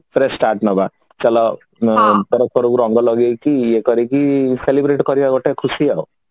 fresh start ମାରିବା ଚାଲ ପରସ୍ପରକୁ ରଙ୍ଗ ଲଗେଇକି ଇଏ କରିକି celebrate କରିବା ଗୋଟେ ଖୁସି ଆଉ